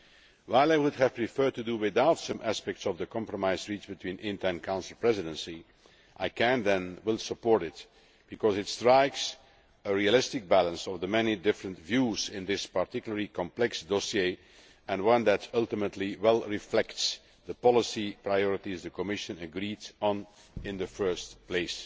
While I would have preferred to do without some aspects of the compromise reached between INTA and the Council Presidency, I can and will support it because it strikes a realistic balance between the very many different views in this particularly complex dossier, and one that ultimately well reflects the policy priorities the Commission agreed on in the first place.